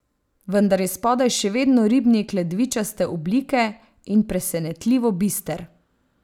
Vendar je spodaj še vedno ribnik ledvičaste oblike in presenetljivo bister.